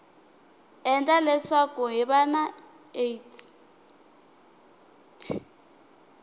endla leswaku hiv na aids